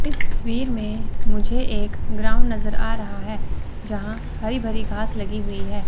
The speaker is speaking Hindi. इस तस्वीर मे मुझे एक ग्राउंड नजर आ रहा है जहां हरी भरी घास लगी हुई है।